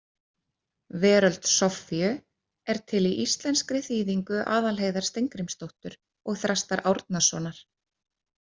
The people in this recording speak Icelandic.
Veröld Soffíu er til í íslenskri þýðingu Aðalheiðar Steingrímsdóttur og Þrastar Árnasonar.